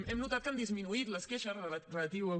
hem notat que han disminuït les queixes relatives